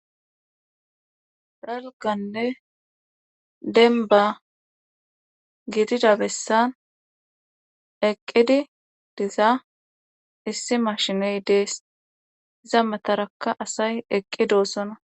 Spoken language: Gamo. Dalganne denba gidida bessan eqqidi diza issi mashiney dees iza matarakka asay eqqidoossona.